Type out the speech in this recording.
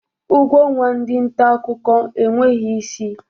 Ụgwọ ọnwa ndị ntaakụkọ enweghi isi.